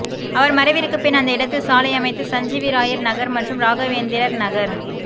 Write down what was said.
அவர் மறைவிற்குப் பின் அந்த இடத்தில் சாலை அமைத்து சஞ்சீவிராயர் நகர் மற்றும் ராகவேந்திரர் நகர்